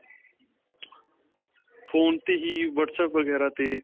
phone 'ਤੇ ਹੀ whatsapp ਵਗੈਰਾ 'ਤੇ.